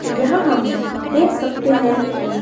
यहां हम देख सकते हैं कि--